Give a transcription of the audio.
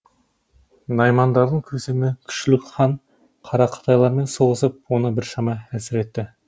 наймандардың көсемі күшлік хан қарақытайлармен соғысып оны біршама әлсіретті